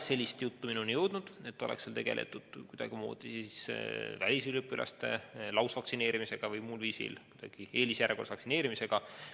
Sellist juttu ei ole minuni jõudnud, et seal oleks tegeldud välisüliõpilaste lausvaktsineerimisega või muul viisil eelisjärjekorras vaktsineerimisega.